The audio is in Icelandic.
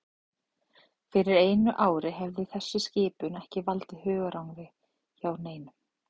Fyrir einu ári hefði þessi skipun ekki valdið hugarangri hjá neinum.